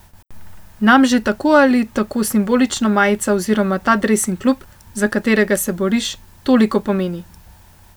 Nam že tako ali tako simbolično majica oziroma ta dres in klub, za katerega se boriš, toliko pomeni.